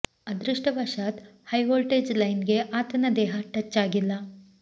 ಅದೃಷ್ಟವಶಾತ್ high voltage line ಗೆ ಆತನ ದೇಹ ಟಚ್ ಆಗಿಲ್ಲ